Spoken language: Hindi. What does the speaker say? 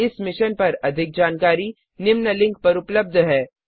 इस मिशन पर अधिक जानकारी निम्न लिंक पर उपलब्ध है